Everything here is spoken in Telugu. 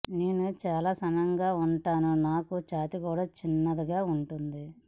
నేను చాలా సన్నగా ఉంటాను నాకూ ఛాతీ కూడా చిన్నగా ఉంటుంది